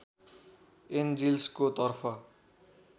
एन्जिल्सको तर्फ